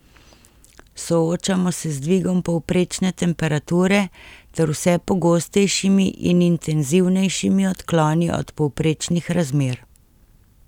Soočamo se z dvigom povprečne temperature ter vse pogostejšimi in intenzivnejšimi odkloni od povprečnih razmer.